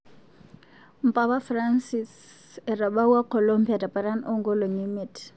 Mpapa Francis etabawua Colombia teparan o nkolongi miet.